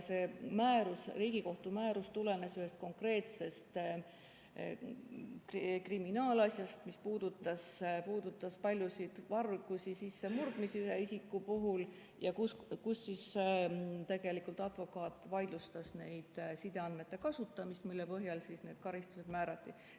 See Riigikohtu määrus tulenes ühest konkreetsest kriminaalasjast, mis puudutas ühe isiku paljusid vargusi ja sissemurdmisi ning advokaat vaidlustas sideandmete kasutamise, mille põhjal need karistused määrati.